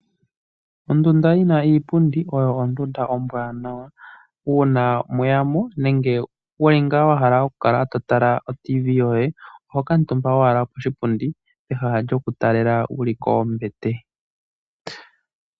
Ondunda yina iipundi oyo ondunda ombwanawa. Uuna mweyamo nenge wuli ngaa wahala okutala radio yomuzizimbe oho kaatumba owala koshipundi peha lyo kutalela wuli kombete.